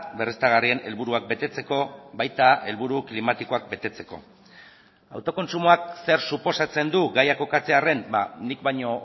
berriztagarrien helburuak betetzeko baita helburu klimatikoak betetzeko autokontsumoak zer suposatzen du gaia kokatzearren nik baino